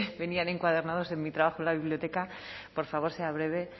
venían encuadernados en mi trabajo en la biblioteca por favor sea breve